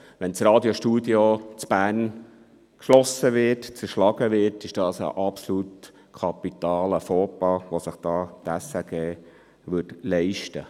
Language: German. Wenn das Radiostudio Bern geschlossen und zerschlagen würde, würde sich die SRG einen kapitalen Fauxpas leisten.